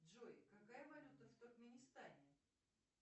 джой какая валюта в туркменистане